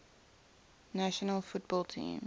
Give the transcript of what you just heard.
national football team